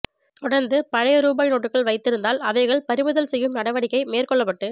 தொடர்ந்து பழைய ரூபாய் நோட்டுகள் வைத்திருந்தால் அவைகள் பறிமுதல் செய்யும் நடவடிக்கை மேற்கொள்ளப்பட்டு